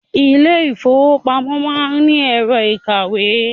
Ilé ìfọwọ́pamo má ń ni ẹ̀rọ ìkawó.